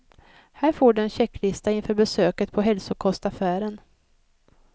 Här får du en checklista inför besöket på hälsokostaffären.